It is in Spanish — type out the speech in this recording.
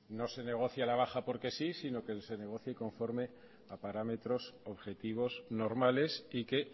no se negocie a la baja porque sí sino que se negocie conforme a parámetros objetivos normales y que